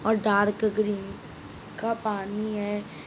और dark green का पानी है।